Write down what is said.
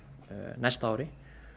næsta ári